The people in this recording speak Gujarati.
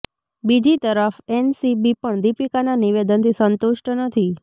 બીજી તરફ એનસીબી પણ દીપિકાના નિવેદનથી સંતુષ્ટ નથી